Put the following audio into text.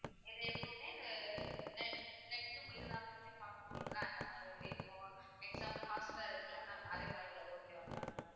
இது எப்பவுமே இந்த ne~ net இருந்தா மட்டுமே பார்க்க முடியுமில்ல அந்த மாதிரி அது. இப்போ example ஹாட்ஸ்டார் இருக்குல்ல ma'am அதே மாதிரி உள்ளது okay வா ma'am